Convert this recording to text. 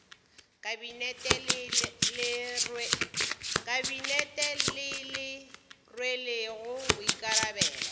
kabinete le le rwelego boikarabelo